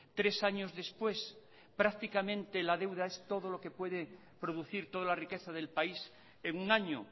tres años después prácticamente la deuda es todo lo que puede producir toda la riqueza del país en un año